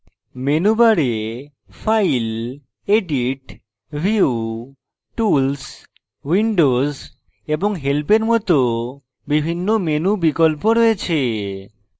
menu bar file edit view tools windows এবং help bar মত বিভিন্ন menu বিকল্প রয়েছে